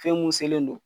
Fɛn mun selen don